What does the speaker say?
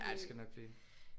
Ja det skal det nok blive